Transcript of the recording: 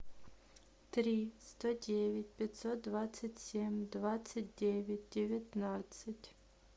три сто девять пятьсот двадцать семь двадцать девять девятнадцать